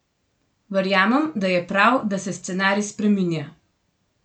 Verjamem, da je prav, da se scenarij spreminja.